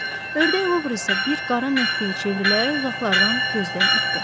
Ördək Luvr isə bir qara nöqtəyə çevrilərək uzaqlardan gözdən itdi.